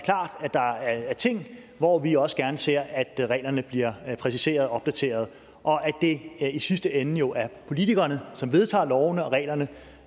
der er ting og hvor vi også gerne ser at reglerne bliver præciseret og opdateret og at det i sidste ende jo er politikerne som vedtager lovene og reglerne